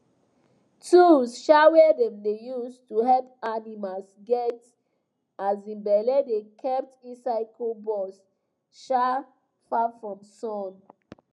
tools um wey dem dey use to help animals get um belle dey kept inside cool box um far from sun